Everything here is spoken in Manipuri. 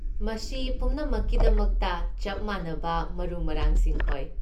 ꯃꯁꯤ ꯄꯨꯝꯅꯃꯛꯀꯤꯗꯃꯛꯇ ꯆꯞ ꯃꯥꯟꯅꯕ ꯃꯔꯨ ꯃꯔꯥꯡꯁꯤꯡ ꯑꯣꯏ꯫